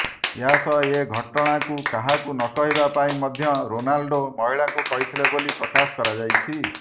ଏହାସହ ଏ ଘଟଣାକୁ କାହାକୁ ନ କହିବା ପାଇଁ ମଧ୍ୟ ରୋନାଲ୍ଡୋ ମହିଳାଙ୍କୁ କହିଥିଲେ ବୋଲି ପକାଶ କରାଯାଇଛି